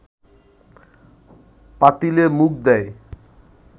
পাতিলে মুখ দেয়